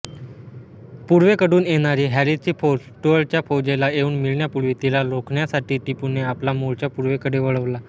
पूर्वेक़डून येणारी हॅरीसची फौज स्टुअर्टच्या फौजेला येऊन मिळण्यापूर्वी तिला रोखण्यासाठी टिपूने आपला मोर्चा पूर्वेकडे वळवला